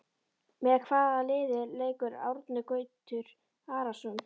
Með hvaða liði leikur Árni Gautur Arason?